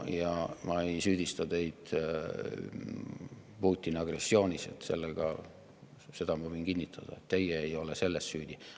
Ma ei süüdista teid Putini agressioonis, seda ma võin kinnitada, et teie ei ole selles süüdi.